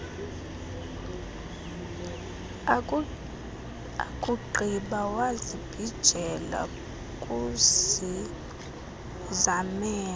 akugqiba wazibhijela kuzizamele